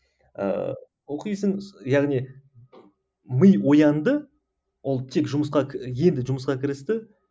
ыыы оқисың яғни ми оянды ол тек жұмысқа енді жұмысқа кірісті